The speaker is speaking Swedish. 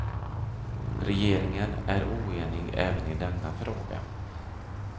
Regeringen är oenig även i denna fråga.